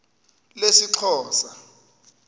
lesixhosa